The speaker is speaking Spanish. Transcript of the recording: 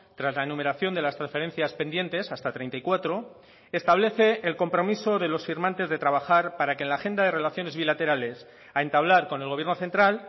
tras la enumeración de las transferencias pendientes hasta treinta y cuatro establece el compromiso de los firmantes de trabajar para que en la agenda de relaciones bilaterales a entablar con el gobierno central